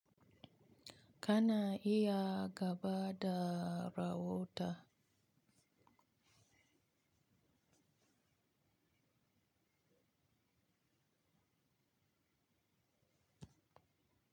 Kana iya gaba da rawota.